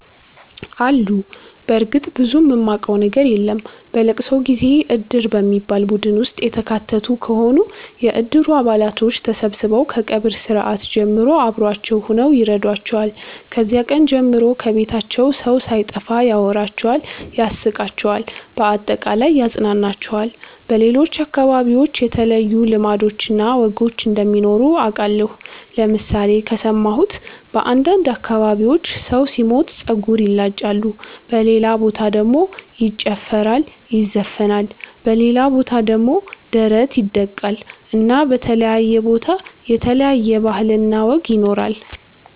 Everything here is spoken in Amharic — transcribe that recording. አሉ በርግጥ ብዙም ማቀው ነገር የለም። በለቅሶ ጊዜ እድር በሚባል ቡድን ውስጥ የተካተቱ ከሆኑ የእድሩ አባላቶች ተሠብስበው ከቀብር ስርአት ጀምሮ አብሮዋቸው ሁነው ይረዷቸዋል። ከዚያ ቀን ጀምሮ ከቤታቸው ሠው ሣይጠፋ ያወራቸዋል ያስቃቸዋል በአጠቃላይ ያፅናናቸዋል። በሌሎች አከባቢዎች የተለዩ ልማዶች እና ወጎች እንደሚኖሩ አቃለሁ ለምሣሌ ከሠማሁት በአንዳንድ አከባቢዎች ሠው ሢሞት ጸጉር ይላጫሉ በሌላ በታ ደሞ ይጨፈራል ይዘፍናል በሌላ ቦታ ደሞ ደረት ይደቃል እና በተለያየ ቦታ የተለያየ ባህል እና ወግ ይኖራል።